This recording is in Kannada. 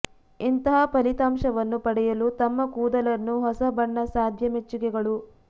ಇಂತಹ ಫಲಿತಾಂಶವನ್ನು ಪಡೆಯಲು ತಮ್ಮ ಕೂದಲನ್ನು ಹೊಸ ಬಣ್ಣ ಸಾಧ್ಯ ಮೆಚ್ಚುಗೆಗಳು